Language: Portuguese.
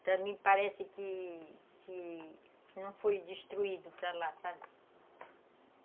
Para mim parece que que não foi destruído para lá, sabe?